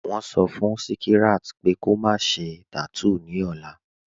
Wọ́n sọ́ fún Śíkíràt pẹ̀ kò má ṣè tátúún ni ọ̀là